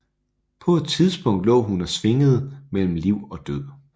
På et tidspunkt lå hun og svingede mellem liv og død